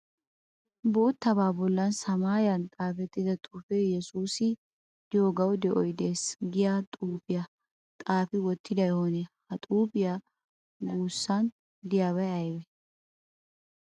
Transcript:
Boottabaa bollan samaayiyan xaafettida xuufee " yesuusi diyogawu de'oy des" giya xuufiya xaafi wottiday oonee? Ha xuufiya guyyessan diyaabay ayibee?